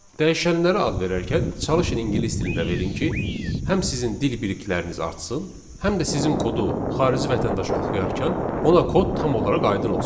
Dəyişənlərə ad verərkən çalışın ingilis dilində verin ki, həm sizin dil bilikləriniz artsın, həm də sizin kodu xarici vətəndaş oxuyarkən ona kod tam olaraq aydın olsun.